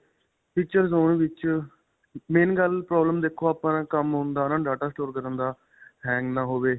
features ਹੋਣ ਵਿੱਚ, main ਗੱਲ problem ਦੇਖੋ ਆਪਣਾਂ ਕੰਮ ਹੁੰਦਾ ਹੈ ਨਾ data store ਕਰਨ ਦਾ hang ਨਾ ਹੋਵੇ.